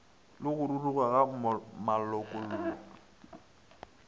le go ruruga ga malokollo